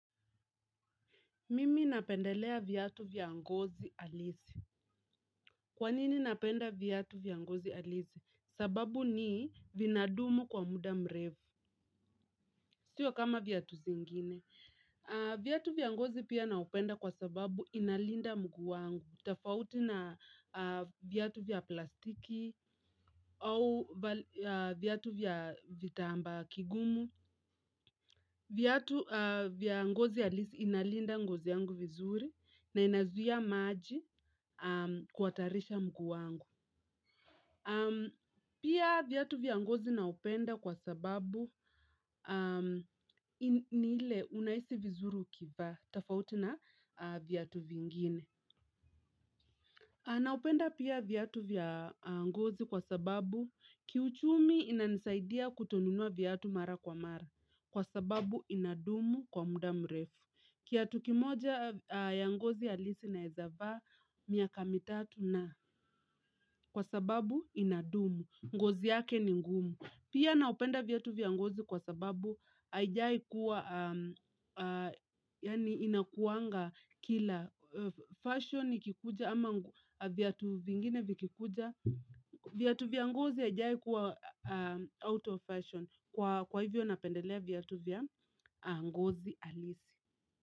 Mimi napendelea viatu vya ngozi halisi. Kwanini napenda viatu vya ngozi halisi? Sababu ni vinadumu kwa muda mrefu. Sio kama viatu zingine. Viatu vya ngozi pia navipenda kwa sababu vinalinda mguu wangu. Tofauti na viatu vya plastiki au viatu vya kitambaa kigumu viatu vya ngozi halisi inalinda ngozi yangu vizuri na inazuia maji. Kuhatarisha mguu wangu. Pia viatu vya ngozi navipenda kwa sababu ni vile unahisi vizuri ukivivaa. Tofauti na viatu vingine. Navipenda pia viatu vya ngozi kwa sababu kiuchumi inanisaidia kutonunua viatu mara kwa mara. Kwa sababu inadumu kwa muda mrefu kiatu kimoja ya ngozi halisi naweza vaa miaka mitatu na zaidi kwa sababu inadumu. Ngozi yake ni ngumu. Pia navipenda viatu vya ngozi kwa sababu havijawahi kuwa, yani vinakuwanga kila fashion ikikuja ama viatu vingine viatu vya ngozi havijawahi kuwa out of fashion. Kwa hivyo napendelea viatu vya ngozi halisi.